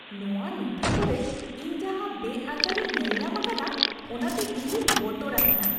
ᱱᱚᱶᱟ ᱱᱩᱛᱷᱤ ᱠᱚᱨᱮ ᱤᱧ ᱡᱟᱦᱟᱸ ᱵᱮᱼᱟᱹᱤᱪᱟᱹᱨᱤᱧ ᱧᱮᱞᱧᱟᱢ ᱟᱠᱟᱫᱼᱟ, ᱚᱱᱟ ᱛᱮ ᱤᱧ ᱫᱚᱧ ᱵᱚᱛᱚᱨ ᱟᱠᱟᱱᱟ ᱾